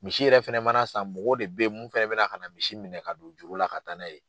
Misi yɛrɛ fɛnɛ mana san mɔgɔw de bɛ ye mun fɛ bɛ na ka na misi minɛ ka don juru la ka taa na ye.